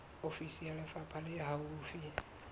ofisi ya lefapha le haufi